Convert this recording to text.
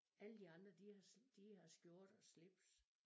Alle de andre de har de har skjorter og slips